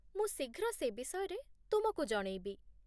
ମୁଁ ଶୀଘ୍ର ସେ ବିଷୟରେ ତୁମକୁ ଜଣେଇବି